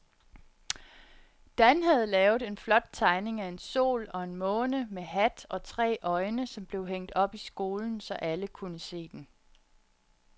Dan havde lavet en flot tegning af en sol og en måne med hat og tre øjne, som blev hængt op i skolen, så alle kunne se den.